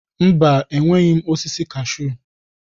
Mba, enweghị m osisi kashuu